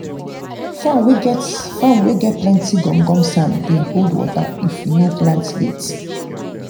farm wey farm wey get plenty gum gum sand dey hold water if you no plant late.